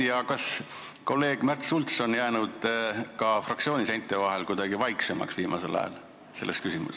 Ja kas kolleeg Märt Sults on fraktsiooni seinte vahel selles küsimuses kuidagi vaiksemaks jäänud viimasel ajal?